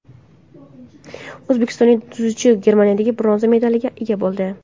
O‘zbekistonlik dzyudochi Germaniyada bronza medaliga ega bo‘ldi.